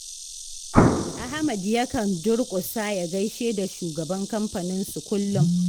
Ahmad ya kan durƙusa ya gaishe da shugaban kamfaninsu kullum.